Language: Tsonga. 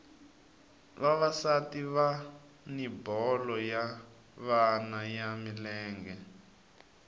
vavasati vani bolo ya vona ya milenge